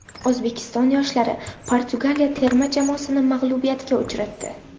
O‘zbekiston yoshlari Portugaliya terma jamoasini mag‘lubiyatga uchratdi.